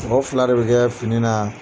Mɔgɔ fila de bɛ kɛ fini na.